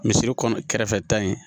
Misiri kɔnɔ kɛrɛfɛta ye